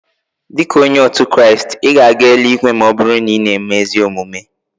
Dika onye otu Kraist, ị ga-aga eluigwe ma ọ bụrụ na ị na-eme ezi omume.